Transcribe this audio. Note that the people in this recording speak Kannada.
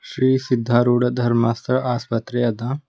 ಶ್ರೀ ಸಿದ್ಧಾರೂಢ ಧರ್ಮಾರ್ಥ ಆಸ್ಪತ್ರೆ ಅದ.